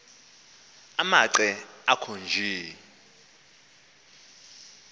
amanqe akho nje